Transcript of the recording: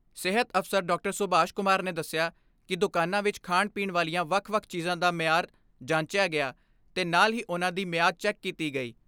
ਸੁਭਾਸ਼ ਕੁਮਾਰ ਨੇ ਦਸਿਆ ਕਿ ਦੁਕਾਨਾਂ ਵਿਚ ਖਾਣ ਪੀਣ ਵਾਲੀਆਂ ਵੱਖ ਵੱਖ ਚੀਜ਼ਾਂ ਦਾ ਮਿਆਰ ਜਾਂਚਿਆ ਗਿਆ ਤੇ ਨਾਲ ਹੀ ਉਨ੍ਹਾਂ ਦੀ ਮਿਆਦ ਚੈੱਕ ਕੀਤੀ ਗਈ।